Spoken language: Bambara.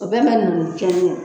O bɛɛ ma ninnu